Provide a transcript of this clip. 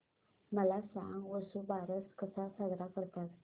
मला सांग वसुबारस कसा साजरा करतात